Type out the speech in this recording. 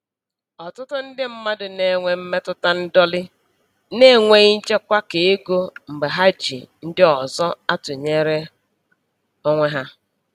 Ọtụtụ ndị mmadụ na-enwe mmetụta ndọlị n'enweghị nchekwa keego mgbe ha ji ndị ọzọ atụnyere onwe ha.